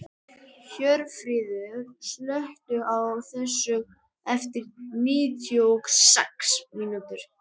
Hjörfríður, slökktu á þessu eftir níutíu og sex mínútur.